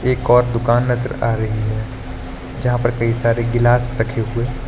एक और दुकान नजर आ रही है जहां पर कई सारे गिलास रखे हुए--